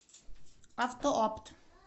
автоопт